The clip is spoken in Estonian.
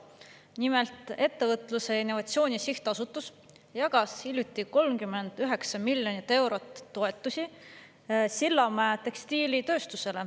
Nimelt, Ettevõtluse ja Innovatsiooni Sihtasutus jagas hiljuti 39 miljonit eurot toetust Sillamäe tekstiilitööstusele.